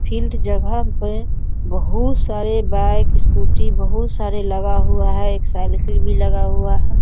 Field जगह पे बहुत सारे बाईक स्‍कूटी बहुत सारे लगा हुआ है एक साईकिल भी लगा हुआ है।